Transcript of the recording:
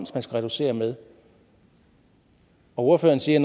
skal reducere med ordføreren siger